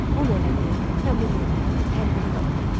Un elədi, xəmir yoğurdu, təndiri qaladı.